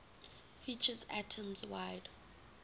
features atoms wide